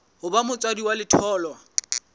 ho ba motswadi wa letholwa